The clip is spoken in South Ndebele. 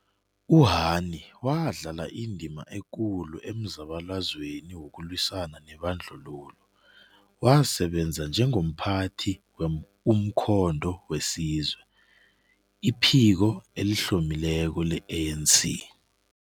U-Hani wadlala indima ekulu emzabalazweni wokulwisana nebandlululo, wasebenza njengomphathi we-Umkhonto we Sizwe, iphiko elihlomileko le-ANC.